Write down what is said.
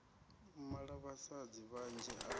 u mala vhasadzi vhanzhi a